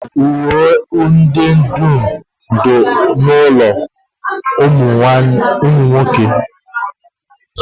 Uwe m dum dị n'ime ụlọndina nwanne m nwoke